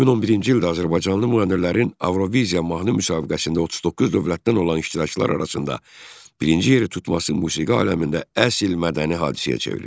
2011-ci ildə azərbaycanlı müğənnilərin Avroviziya mahnı müsabiqəsində 39 dövlətdən olan iştirakçılar arasında birinci yeri tutması musiqi aləmində əsl mədəni hadisəyə çevrildi.